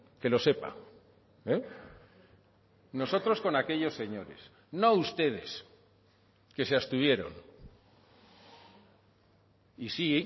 que lo sepa nosotros con aquellos señores no ustedes que se abstuvieron y sí